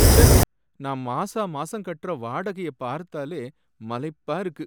ச்சே! நான் மாசா மாசம் கட்டுற வாடகைய பார்த்தாலே மலைப்பா இருக்கு.